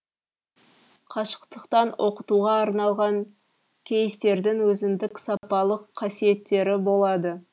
қашықтықтан оқытуға арналған кейстердің өзіндік сапалық қасиеттері болады